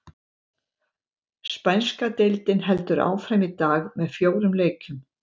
Spænska deildin heldur áfram í dag með fjórum leikjum.